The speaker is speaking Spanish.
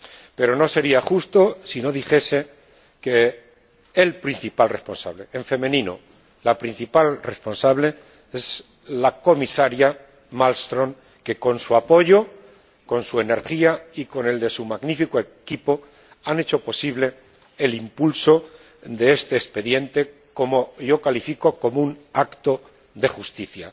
Pero no sería justo si no dijese que el principal responsable en femenino, la principal responsable es la Comisaria Malmström, que, con su apoyo, con su energía y con su magnífico equipo, ha hecho posible el impulso de este expediente, que yo califico como un acto de justicia.